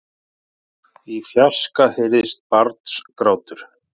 Í fjarska heyrðist barnsgrátur.